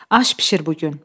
Aş bişir bu gün.